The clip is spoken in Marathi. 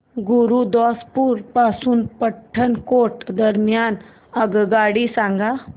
गुरुदासपुर पासून पठाणकोट दरम्यान आगगाडी सांगा